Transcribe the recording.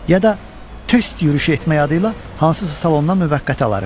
Ya da test yürüyüşü etmək adıyla hansısa salondan müvəqqəti alarıq.